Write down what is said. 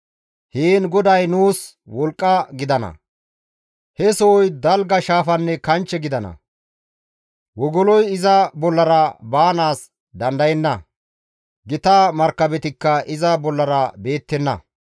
Heen GODAY nuus wolqqa gidana; he sohoy dalga shaafanne kanchche gidana; wogoloy iza bollara baanaas dandayenna; gita markabetikka iza bollara beettenna.